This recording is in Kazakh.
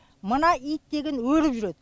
мына ит деген өріп жүреді